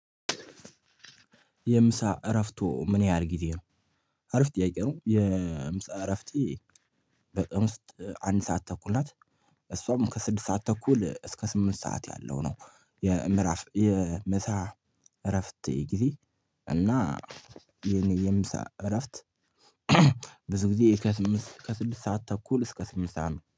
የምሳ እረዎቶ ምን ያህል ጊዜ ነው አረፍት ጥያቄ ነው? የምሳ እረፍት በቅምስ አንድ ሰዓት ተኩል ናት። እሷም ከስድስት ሰዓት ተኩል እስከ ስምንት ሰዓት ያለው ነው። የምዕራፍ የምሳ እረፍት ጊዜ እና የኔ የምሳ እረፍት። ብዙ ጊዜ ከስድስት ሰዓት ተኩል እስከ ስምንት ሰዓት ነው